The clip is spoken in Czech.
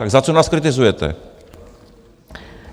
Tak za co nás kritizujete?